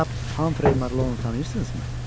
Cənab Hamfrey Marlonu tanıyırsınızmı?